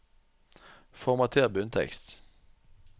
Formater bunntekst